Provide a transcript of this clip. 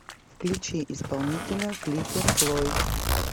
включи исполнителя флиппер флойд